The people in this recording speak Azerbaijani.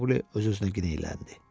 deyə Mauli öz-özünə kinayələndi.